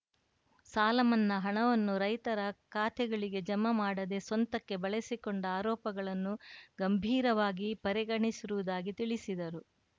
ಸಾಲಮನ್ನಾ ಹಣವನ್ನು ರೈತರ ಖಾತೆಗಳಿಗೆ ಜಮೆ ಮಾಡದೆ ಸ್ವಂತಕ್ಕೆ ಬಳಸಿಕೊಂಡ ಆರೋಪಗಳನ್ನು ಗಂಭೀರವಾಗಿ ಪರಿಗಣಿಸಿರುವುದಾಗಿ ತಿಳಿಸಿದರು